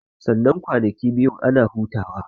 Sannan kwanakin biyun ana hutawa